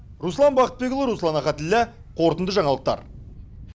руслан бақытбекұлы руслан ахатіллә қорытынды жаңалықтар